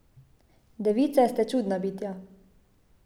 Device ste čudna bitja.